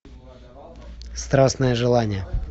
страстное желание